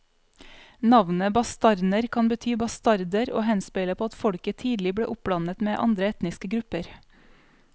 Navnet bastarner kan bety bastarder og henspeiler på at folket tidlig ble oppblandet med andre etniske grupper.